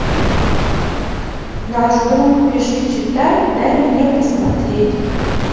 наш друг пиши читай дай мне посмотреть